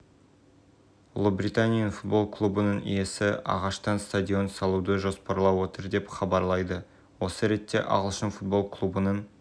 мәліметіне сәйкес сауда сессиясы барысында теңгенің бағамы үшін аралығында тұрақтады мәліметіне сәйкес сауда-саттық көлемі млн болып